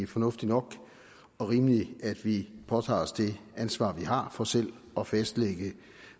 fornuftigt nok og rimeligt at vi påtager os det ansvar vi har for selv at fastlægge